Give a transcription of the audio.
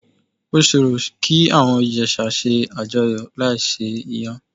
Ó ṣòro kí àwọn Ìjẹ̀sà ṣe àjọyọ̀ láì se Iyán.